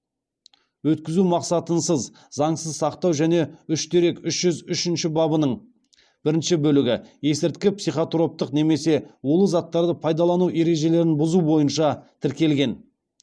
өткізу мақсатынсыз заңсыз сақтау және үш дерек үш жүз үшінші бабының бірінші бөлігі бойынша тіркелген